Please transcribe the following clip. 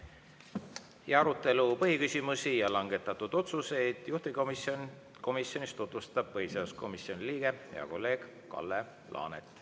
Ja arutelu põhiküsimusi ja langetatud otsuseid juhtivkomisjonis tutvustab põhiseaduskomisjoni liige, hea kolleeg Kalle Laanet.